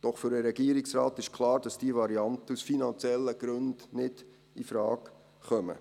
Doch für den Regierungsrat ist klar, dass diese Varianten aus finanziellen Gründen nicht infrage kommen.